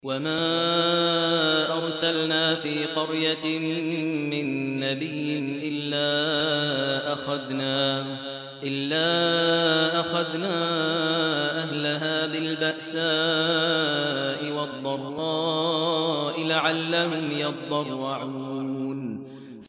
وَمَا أَرْسَلْنَا فِي قَرْيَةٍ مِّن نَّبِيٍّ إِلَّا أَخَذْنَا أَهْلَهَا بِالْبَأْسَاءِ وَالضَّرَّاءِ لَعَلَّهُمْ يَضَّرَّعُونَ